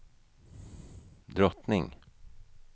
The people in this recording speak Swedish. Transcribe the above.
drottning